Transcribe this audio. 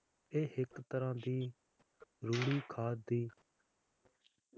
ਇਹ ਇੱਕ ਤਰ੍ਹਾਂ ਦੀ ਰੂੜੀ ਖਾਦ ਦੀ